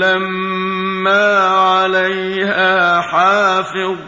لَّمَّا عَلَيْهَا حَافِظٌ